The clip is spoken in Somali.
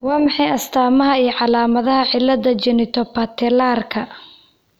Waa maxay astamahaa iyo calaamadaha cilada Genitopatellarka ?